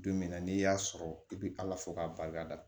Don min na n'i y'a sɔrɔ i bɛ ala fo k'a barika da